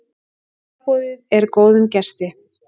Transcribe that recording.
Sjálfboðið er góðum gesti.